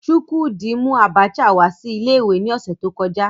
Chukwudi mu Abacha wa si ile iwe ni ose to koja